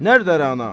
Nərdə Rəna?